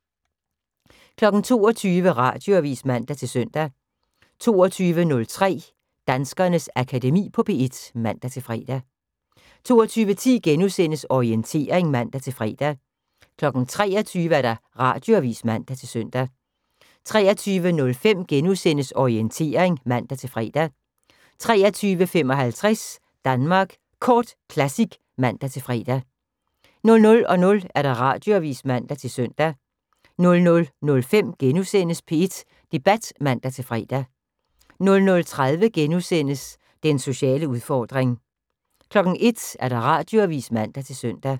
22:00: Radioavis (man-søn) 22:03: Danskernes Akademi på P1 (man-fre) 22:10: Orientering *(man-fre) 23:00: Radioavis (man-søn) 23:05: Orientering *(man-fre) 23:55: Danmark Kort Classic (man-fre) 00:00: Radioavis (man-søn) 00:05: P1 Debat *(man-fre) 00:30: Den sociale udfordring * 01:00: Radioavis (man-søn)